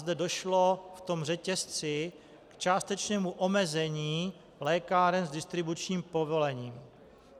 Zde došlo v tom řetězci k částečnému omezení lékáren s distribučním povolením.